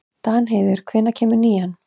Danheiður, hvenær kemur nían?